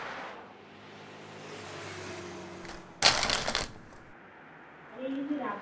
ଆରେ ଇଏ ଯଦି ରାତି